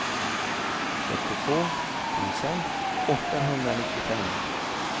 fyrtiotvå tusen åttahundranittiofem